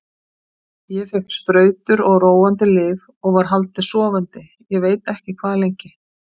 Ég fékk sprautur og róandi lyf og var haldið sofandi ég veit ekki hvað lengi.